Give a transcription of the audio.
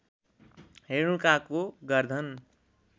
रेणुकाको गर्धन